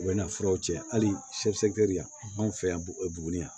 U bɛ na furaw cɛ hali yan anw fɛ yan buguni yan